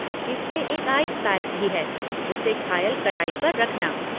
इसमें एक ice pack भी है, उसे घायल कलाई पर रखना।